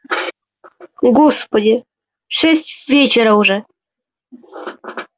господи шесть вечера же